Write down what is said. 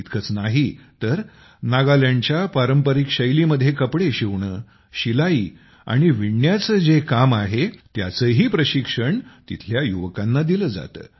इतकंच नाही तर नागालँडच्या पारंपरिक शैलीमध्ये कपडे शिवणं शिलाई आणि विणण्याचं जे काम आहे त्याचंही प्रशिक्षण तेथील युवकांना दिलं जातं